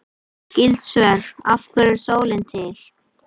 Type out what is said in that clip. Skyld svör: Af hverju er sólin til?